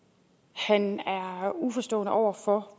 han er uforstående over for